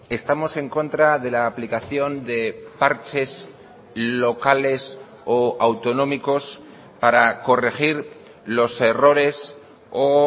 estamos en contra de la aplicación de parches locales o autonómicos para corregir los errores o